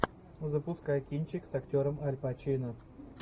запускай кинчик с актером аль пачино